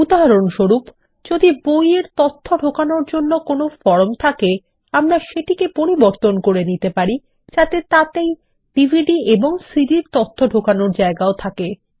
উদাহরণস্বরূপ যদি বই এর তথ্য ঢোকানোর জন্য একটি ফর্ম থাকে আমরা সেটিকে পরিবর্তন করে নিতে পারি যাতে তাতেই ডিভিডি এবং সিডি র তথ্য ঢোকানোর ও জায়গাও থাকে